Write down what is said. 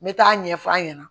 N bɛ taa ɲɛfɔ a ɲɛna